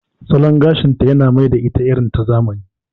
Salon gashinta ya mai da ita irin ta zamani.